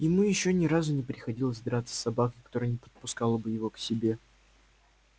ему ещё ни разу не приходилось драться с собакой которая не подпускала бы его к себе